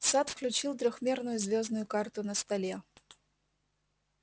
сатт включил трёхмерную звёздную карту на столе